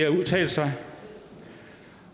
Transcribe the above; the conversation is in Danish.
at udtale sig